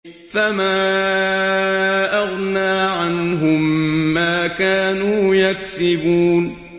فَمَا أَغْنَىٰ عَنْهُم مَّا كَانُوا يَكْسِبُونَ